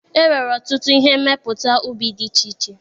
E nwere ọtụtụ ihe mmepụta ubi dị iche iche.